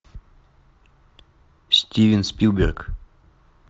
стивен спилберг